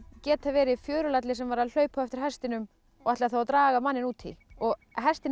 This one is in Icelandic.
getað verið fjörulalli sem var að hlaupa á eftir hestinum og ætlaði að draga manninn út í og hestinn